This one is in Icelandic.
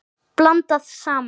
Blandað saman.